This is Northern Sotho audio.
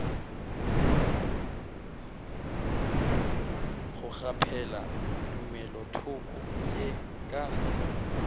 go kgaphela tumelothoko ye ka